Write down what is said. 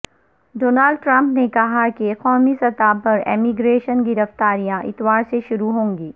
Donald Trump نے کہاکہ قومی سطح پر ایمگریشن گرفتاریاں اتوا ر سے شروع ہونگی